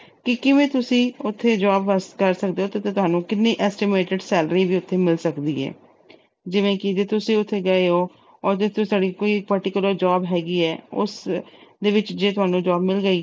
ਕੀ ਕਿਵੇਂ ਤੁਸੀਂ ਉਥੇ job ਵਾਸਤੇ ਕਰ ਸਕਦੇ ਓ ਤੇ ਕਿੰਨੀ ਤੁਹਾਨੂੰ estimated salary ਵੀ ਉਥੇ ਮਿਲ ਸਕਦੀ ਆ ਜਿਵੇਂ ਕਿ ਜੇ ਤੁਸੀਂ ਉਥੇ ਗਏ ਓ ਤੁਹਾਡੀ ਕੋਈ particular job ਹੈਗੀ ਆ, ਉਸਦੇ ਵਿੱਚ ਜੇ ਤੁਹਾਨੂੰ job ਮਿਲ ਗਈ